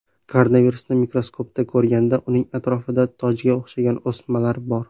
Koronavirusini mikroskopda ko‘rganda, uning atrofida tojga o‘xshagan o‘smalar bor.